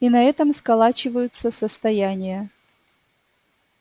и на этом сколачиваются состояния